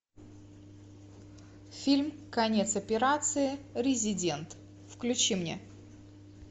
фильм конец операции резидент включи мне